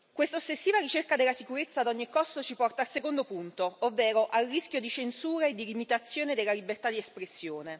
Questa ossessiva ricerca della sicurezza ad ogni costo ci porta al secondo punto, ovvero al rischio di censura e di limitazione della libertà di espressione.